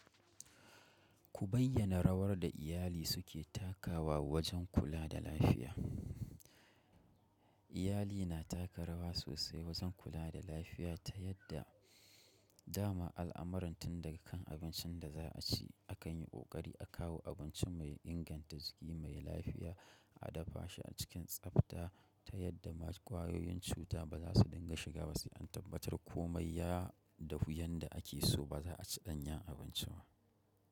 Ku bayyana rawar da iyali suke takawa wajen kula da lafiya. Iyali na taka rawa sosai wajen kula da lafiya ta yadda dama al'amuran tun daga kan abincin da za a ci akan yi ƙoƙari a kawo abinci mai inganta, jiki mai lafiya, a dafa shi cikin tsafta ta yadda ma ƙwayoyin cuta ba za su dinga shiga ba sai an tabbatar komai ya dahu yanda ake so ba za a ci ɗanyan abinci ba.